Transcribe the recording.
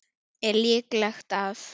Er líklegt að